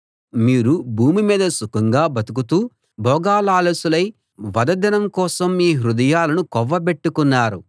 మీరు భూమి మీద సుఖంగా బతుకుతూ భోగలాలసులై వధ దినం కోసం మీ హృదయాలను కొవ్వబెట్టుకున్నారు